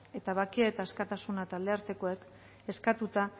eta bakea eta askatasuna taldeartekoek eskatuta